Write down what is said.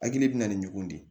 Hakili bɛ na ni ɲɔgɔn de ye